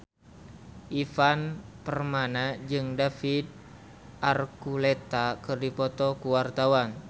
Ivan Permana jeung David Archuletta keur dipoto ku wartawan